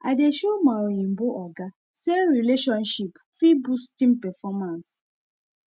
i dey show my oyinbo oga say relationship fit boost team performance